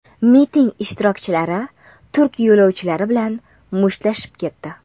Miting ishtirokchilari turk yo‘lovchilari bilan mushtlashib ketdi.